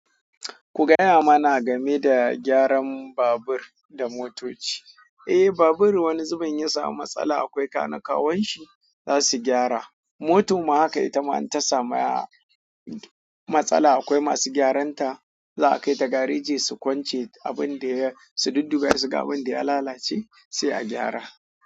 Ku gaya mana game da gyaran babur da motoci. Eh, babur wani zubin ya samu matsala akwai kanakawan shi za su gyara. Motar ma haka ita ma in ta samu matsala akwai masu gyaran ta za a kai ta gareji su kwance abin da ya, su dudduba ya shiga abin da ya lalace sai a gyara.